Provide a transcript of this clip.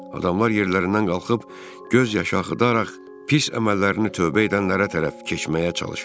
Adamlar yerlərindən qalxıb göz yaşı axıdaraq pis əməllərini tövbə edənlərə tərəf keçməyə çalışırdılar.